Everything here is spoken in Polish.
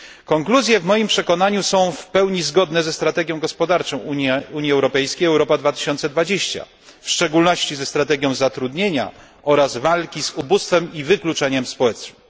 Konkluzje w moim przekonaniu są w pełni zgodne ze strategią gospodarczą Unii Europejskiej Europa 2020, w szczególności ze strategią zatrudnienia oraz walki z ubóstwem i wykluczeniem społecznym.